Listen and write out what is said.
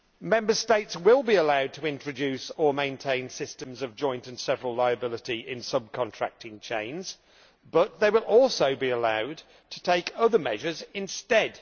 Member States will be allowed to introduce or maintain systems of joint and several liability in sub contracting chains but they will also be allowed to take other measures instead.